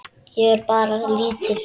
Ég á bara lítið.